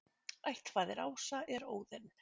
Ættfaðir ása er Óðinn.